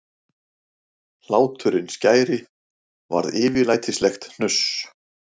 Hláturinn skæri varð yfirlætislegt hnuss.